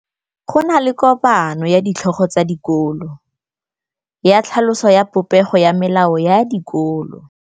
Go na le kopanô ya ditlhogo tsa dikolo ya tlhaloso ya popêgô ya melao ya dikolo.